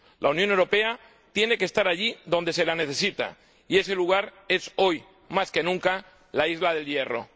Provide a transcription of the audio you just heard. La Unión Europea tiene que estar allí donde se la necesita, y ese lugar es hoy, más que nunca, la isla de El Hierro.